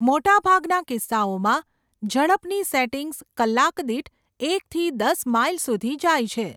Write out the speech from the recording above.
મોટા ભાગના કિસ્સાઓમાં, ઝડપની સેટિંગ્સ કલાક દીઠ એકથી દસ માઇલ સુધી જાય છે.